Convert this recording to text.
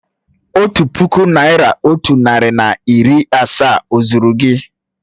Otu puku naị́ra otu narị na iri asaa ó zúru gị?